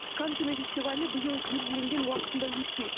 канн кинофестивалі биыл белгіленген уақытында өтпейді